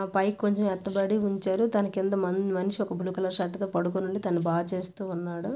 పైకి కొంచెం ఎత్తబడి ఉంచారు. దాని క్రింద మన్-మనిషి ఒకరు బ్లూ కలర్ షర్ట్ తో పడుకొని ఉన్నారు. తానూ బాగా చేస్తూ ఉన్నాడు.